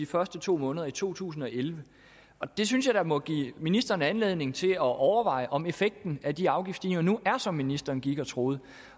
første to måneder i to tusind og elleve det synes jeg da må give ministeren anledning til at overveje om effekten af de afgiftsstigninger nu er som ministeren gik og troede